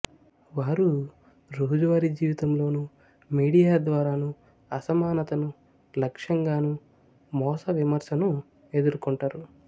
వారు రోజువారీ జీవితంలోను మీడియా ద్వారానూ అసమానతను లక్ష్యంగానూ మూస విమర్శనూ ఎదుర్కొంటారు